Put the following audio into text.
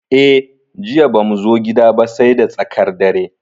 Eh, Jiya bamu zo gida ba sai da tsakar dare.